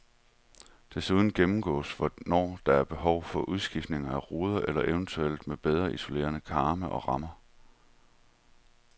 Desuden gennemgås, hvornår der er behov for udskiftning af ruder eller eventuelt med bedre isolerede karme og rammer.